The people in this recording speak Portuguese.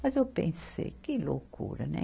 Mas eu pensei, que loucura, né?